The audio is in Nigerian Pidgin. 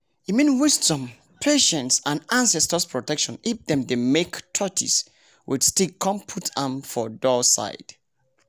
e mean wisdom patience and ancestors protection if dem dem make tortis with stick con put am for door side